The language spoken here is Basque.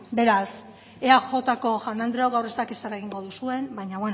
beraz eajko jaun andreok gaur ez dakit zer egingo duzuen baino